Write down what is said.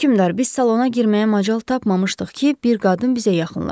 Hökümdar, biz salona girməyə macal tapmamışdıq ki, bir qadın bizə yaxınlaşdı.